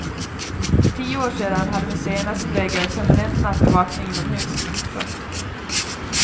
För tio år sedan hade museerna som regel permanent nattbevakning inomhus. punkt